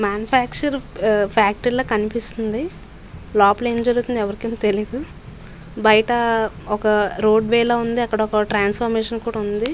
Manufacturing factory లాగా కనిపెస్తునది. లోపల అం జరుగుతునదో త్య్లియదు బయట వక ర్ఫోఅద్ వే లాగా అండ్ త్రాపోస్ట్ లాగా ఉనాది పక్కన.